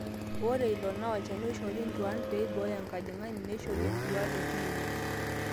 ore ilo naa olchani oishori intuaan pee eibooyo enkajang'ani, neishori entuaa te clinic